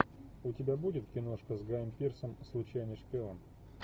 у тебя будет киношка с гаем пирсом случайный шпион